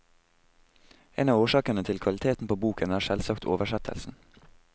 En av årsakene til kvaliteten på boken er selvsagt oversettelsen.